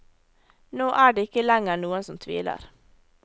Nå er det ikke lenger noen som tviler.